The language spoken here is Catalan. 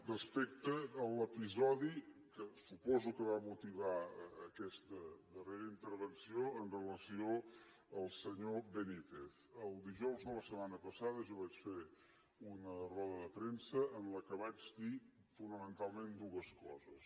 respecte a l’episodi que suposo que va motivar aquesta darrera intervenció amb relació al senyor benítez el dijous de la setmana passada jo vaig fer una roda de premsa en què vaig dir fonamentalment dues coses